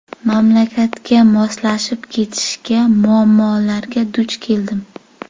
Mamlakatga moslashib ketishga muammolarga duch keldim.